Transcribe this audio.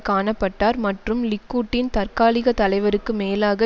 காண பட்டார் மற்றும் லிக்குட்டின் தற்காலிக தலைவருக்கு மேலாக